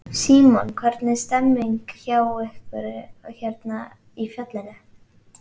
Símon: Hvernig er stemningin hjá ykkur hérna í fjallinu?